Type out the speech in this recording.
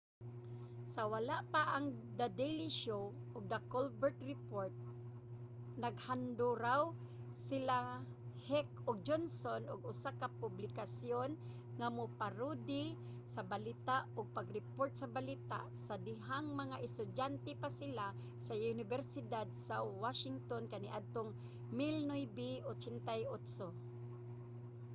sa wala pa ang the daily show ug the colbert report naghanduraw sila heck ug johnson og usa ka publikasyon nga mo-parody sa balita—ug pag-report sa balita—sa dihang mga estudyante pa sila sa unibersidad sa washington kaniadtong 1988